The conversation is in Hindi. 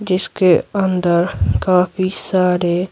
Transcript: जिसके अंदर काफी सारे --